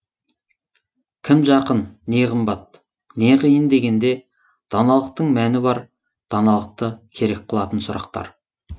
кім жақын не қымбат не қиын дегенде даналықтың мәні бар даналықты керек қылатын сұрақтар